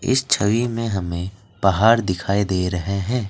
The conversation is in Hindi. इस छवि में हमें पहाड़ दिखाई दे रहे हैं।